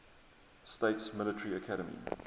states military academy